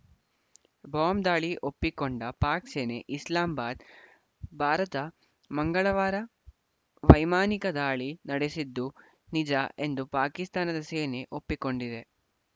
bomb ದಾಳಿ ಒಪ್ಪಿಕೊಂಡ ಪಾಕ್‌ ಸೇನೆ ಇಸ್ಲಾಮ್ ಬಾದ್‌ ಭಾರತ ಮಂಗಳವಾರ ವೈಮಾನಿಕ ದಾಳಿ ನಡೆಸಿದ್ದು ನಿಜ ಎಂದು ಪಾಕಿಸ್ತಾನದ ಸೇನೆ ಒಪ್ಪಿಕೊಂಡಿದೆ